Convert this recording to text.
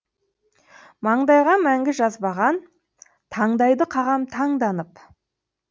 маңдайға мәңгі жазбаған таңдайды қағам таңданып